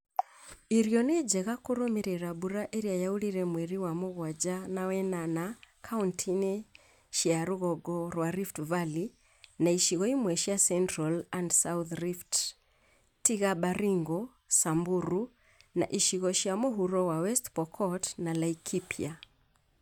Irio nĩ njega kũrũmĩrĩra mbura ĩrĩa yaurire mweri wa mũgwanja na wenana kauntĩ-ini cia rũgongo rwa Rift Valley na icigo imwe cia Central and South Rift tiga Baringo , Samburu, na icigo cia mũhuro wa West Pokot na Laikipia